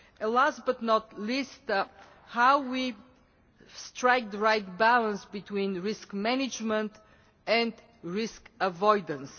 and last but not least how we strike the right balance between risk management and risk avoidance.